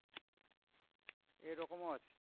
এরকমও আছে।